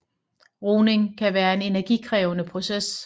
Rugning kan være en energikrævende proces